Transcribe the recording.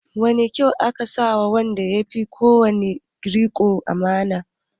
Wane kyauta aka ba wa wanda ya fi kowa riƙon amana?